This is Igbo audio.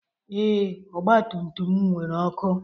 Ee, ọgba tum tum m nwere ọkụ.